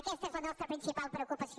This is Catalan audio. aquesta és la nostra principal preocupació